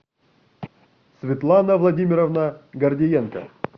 светлана владимировна гордиенко